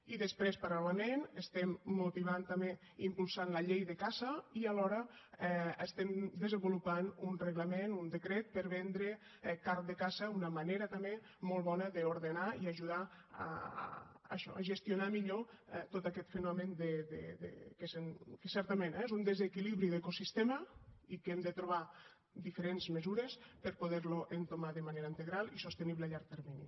i després paral·lelament estem motivant també i impulsant la llei de caça i alhora estem desenvolupant un reglament un decret per vendre carn de caça una manera també molt bona d’ordenar i ajudar a això a gestionar millor tot aquest fenomen que certament és un desequilibri d’ecosistema i que hem de trobar diferents mesures per poder lo entomar de manera integral i sostenible a llarg termini